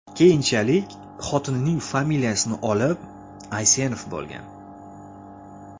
Keyinchalik, xotinining familiyasini olib, Aysenov bo‘lgan.